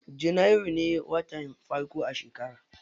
Janairu ne watan farko a shekara.